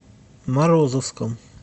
морозовском